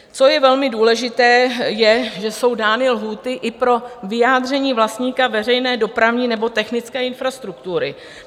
Co je velmi důležité, je, že jsou dány lhůty i pro vyjádření vlastníka veřejné dopravní nebo technické infrastruktury.